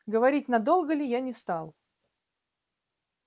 говорить надолго ли я не стал